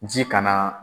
Ji kana